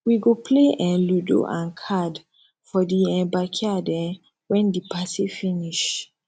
we go play um ludo and card for di um backyard um wen di party finish